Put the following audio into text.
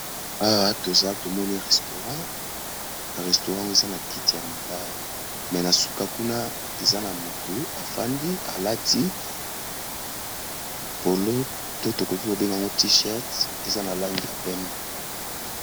Awa toza tomoni restaurant, restaurant eza na kiti ya mabaya me na suka kuna eza na motu afandi alati polo to tokoki kobenga ngo t-shirt eza na langi ya pembe.